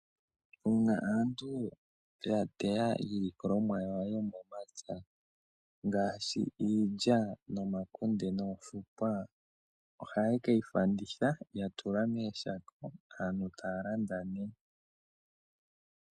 Uuna aantu ya teya iilikolomwa yawo yo momapya ngaashi, iilya, omakunde noofukwa oha ye ke yi landitha ye yi tula mooshako.